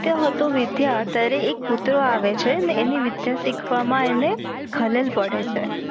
સીખતો હતો વિધ્ય ત્યરેહ એક કૂતરો આવે છે ને એની વિધ્ય સિખવા મા પડે છે